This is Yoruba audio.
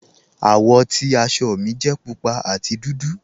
Awọ́ ti àṣọ́ mi jẹ̀ púpà àti dúdú.